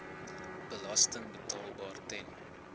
belasting betaalbaar ten